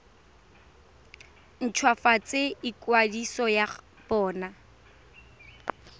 nt hwafatse ikwadiso ya bona